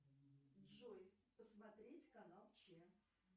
джой посмотреть канал че